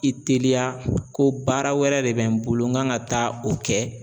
I teliya ko baara wɛrɛ de bɛ n bolo n kan ka taa o kɛ.